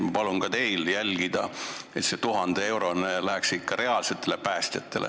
Ma palun ka teil jälgida, et see 1000-eurone palk läheks ikka reaalsetele päästjatele.